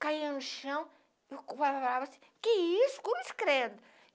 caia no chão, eu falava assim, que isso, cruz credo